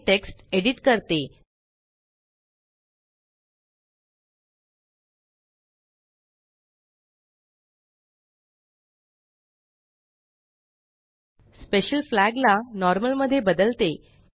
मी text edit करते special flag ला normal मध्ये बदलते